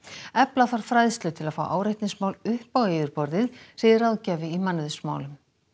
efla þarf fræðslu til að fá áreitnismál upp á yfirborðið segir ráðgjafi í mannauðsmálum